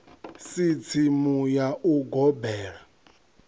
si tsimu ya u gobela